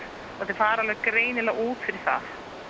fara greinilega út fyrir það